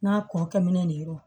N'a kuru kɛminnen de ye